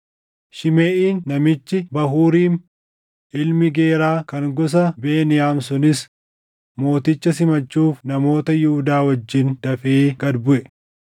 Shimeʼiin namichi Bahuuriim ilmi Geeraa kan gosa Beniyaam sunis mooticha simachuuf namoota Yihuudaa wajjin dafee gad buʼe.